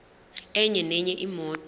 enye nenye imoto